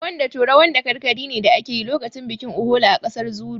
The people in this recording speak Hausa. Rawan dato rawan dakarkari ne da ake yi lokacin bikin Uhola a ƙasar Zuru